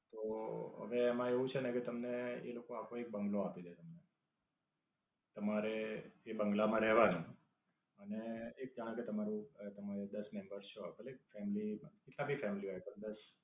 તો, હવે એમાં એવું છે ને કે તમને એ લોકો આખો એક બંગલો આપી દે તમને. તમારે એ બઁગલા માં રહેવાનું અને એક કારણ કે તમારું દસ મીનિટ પર સો ભલે એક family સારી family હોય પણ દસ